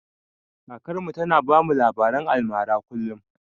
Kakar mu ta na bamu labaren almara kullum